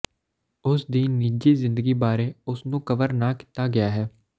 ਉਸ ਦੀ ਨਿੱਜੀ ਜ਼ਿੰਦਗੀ ਬਾਰੇ ਉਸ ਨੂੰ ਕਵਰ ਨਾ ਕੀਤਾ ਗਿਆ ਹੈ